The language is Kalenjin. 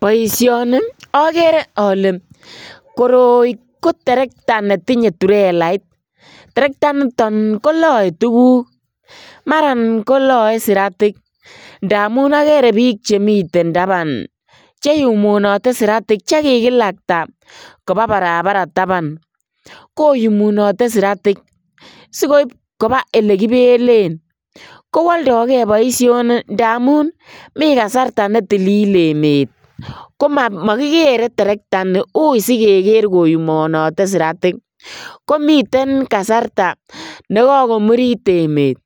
Boisioni okere ole koroi koterekta netinye turelait, terekta initon koloe tuguk maran koloe siratik ndamun okere bik chemiten taban cheyumunote siratik chekikolakta kobaa barabara taban koyuminote siratik sikoib kobaa ele kibelen kowoldo gee boisioni ndamun mi kasarta ne tilil en emet komokikere terekta ini ui sikere koyumunote siratik, komi kasarta nekokomurit emet